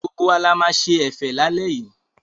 Gbogbo wa la máa ṣe ẹ̀fẹ̀ lálẹ́ yìí.